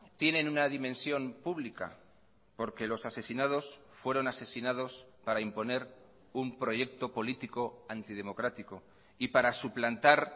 tienen una dimensión pública porque los asesinados fueron asesinados para imponer un proyecto político antidemocrático y para suplantar